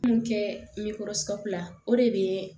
Mun kɛ ɲɛkɔrɔsla o de bɛ